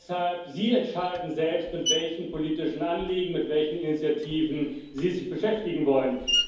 Deshalb entscheiden sie selbst, mit welchen politischen Anliegen, mit welchen Initiativen sie sich beschäftigen wollen.